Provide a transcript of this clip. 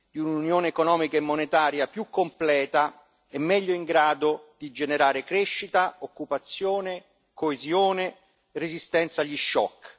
di un'Unione economica e monetaria più completa e meglio in grado di generare crescita, occupazione, coesione, resistenza agli shock.